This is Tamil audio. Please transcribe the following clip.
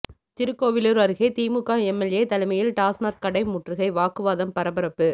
திருக்கோவிலூர் அருகே திமுக எம்எல்ஏ தலைமையில் டாஸ்மாக் கடை முற்றுகை வாக்குவாதம் பரபரப்பு